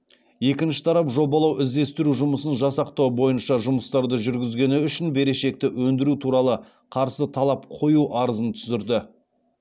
екінші тарап жобалау іздестіру жұмысын жасақтау бойынша жұмыстарды жүргізгені үшін берешекті өндіру туралы қарсы талап қою арызын түсірді